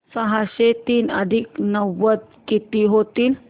सहाशे तीन अधिक नव्वद किती होतील